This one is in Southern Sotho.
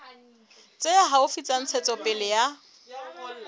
tse haufi tsa ntshetsopele ya